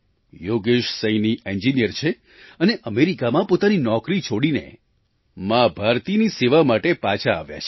Yogesh Saini engineer છે અને અમેરિકામાં પોતાની નોકરી છોડીને મા ભારતીની સેવા માટે પાછા આવ્યા છે